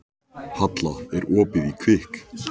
Sletta af einhvers konar víni spillir aldrei fyrir.